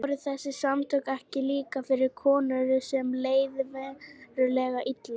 Voru þessi samtök ekki líka fyrir konur sem leið verulega illa?